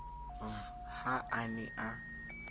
v ha a ne a